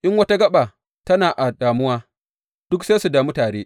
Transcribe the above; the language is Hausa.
In wata gaɓa tana a damuwa, duk sai su damu tare.